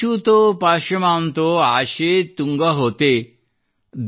ಛುಯಿಶುತೊ ಪಾಯಮಾಂತೋ ಆಶೇ ತುಂಗ ಹೋತೆ